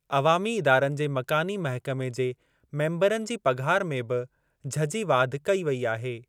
अवामी इदारनि जे मकानी महकमे जे मेंबरनि जी पघार में बि झझी वाधि कई वेई आहे।